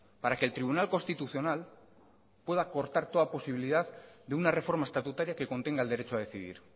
para que el tribunal constitucional pueda cortar toda posibilidad de una reforma estatutaria que contenga el derecho a decidir